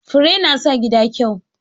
Fure na sa gida kyau.